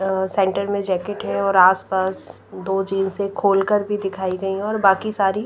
अ centre में jacket है और आसपास दो खोल कर भी दिखाई गई है और बाकी सारी--